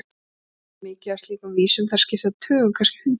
Pétur kann mikið af slíkum vísum, þær skipta tugum, kannski hundruðum.